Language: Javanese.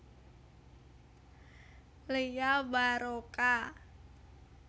Lia Waroka